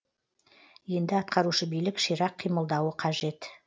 енді атқарушы билік ширақ қимылдауы қажет